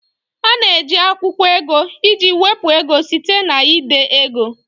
A na-eji akwụkwọ ego iji wepụ ego site na ide ego